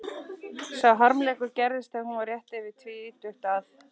Sá harmleikur gerðist þegar hún var rétt yfir tvítugt að